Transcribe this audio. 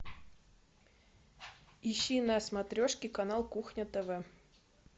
ищи на смотрешке канал кухня тв